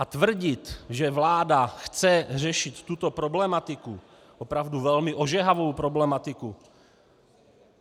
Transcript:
A tvrdit, že vláda chce řešit tuto problematiku, opravdu velmi ožehavou problematiku...